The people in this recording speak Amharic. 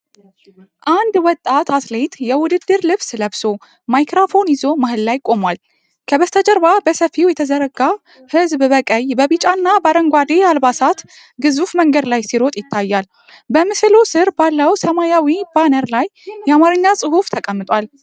አንድ ወጣት አትሌት የውድድር ልብስ ለብሶ ማይክራፎን ይዞ መሃል ላይ ቆሟል። ከበስተጀርባ በሰፊው የተዘረጋ ህዝብ በቀይ፣ በቢጫ እና በአረንጓዴ አልባሳት ግዙፍ መንገድ ላይ ሲሮጥ ይታያል። በምስሉ ስር ባለው ሰማያዊ ባነር ላይ የአማርኛ ጽሑፍ ተቀምጧል።